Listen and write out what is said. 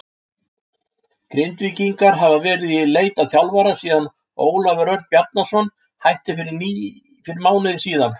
Grindvíkingar hafa verið í leit að þjálfara síðan Ólafur Örn Bjarnason hætti fyrir mánuði síðan.